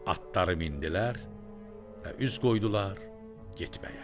Atları mindilər və üz qoydular getməyə.